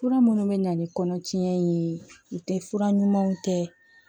Fura minnu bɛ na ni kɔnɔtiɲɛ ye o tɛ fura ɲumanw tɛ